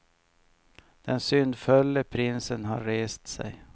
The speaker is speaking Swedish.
Den syndfulle prinsen har rest sig.